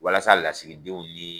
Walasa lasigidenw ni.